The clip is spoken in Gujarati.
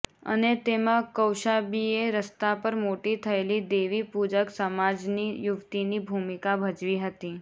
અને તેમાં કૌશાંબીએ રસ્તા પર મોટી થયેલી દેવી પૂજક સમાજની યુવતીની ભૂમિકા ભજવી હતી